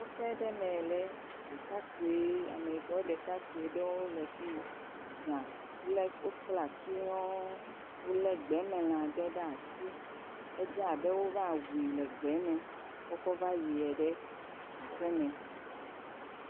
Kɔƒe aɖe me ameyibɔ ɖekakpui aɖe le afi yi za wokpla tu nyɔɔ wole gbemelã aɖe ɖe asi edze abe wova wui le gbeame kɔ kɔ va yie ɖe aƒeme